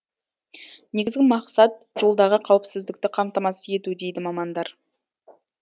негізгі мақсат жолдағы қауіпсіздікті қамтамасыз ету дейді мамандар